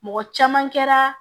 Mɔgɔ caman kɛra